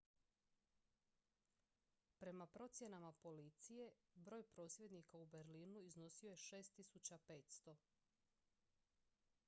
prema procjenama policije broj prosvjednika u berlinu iznosio je 6500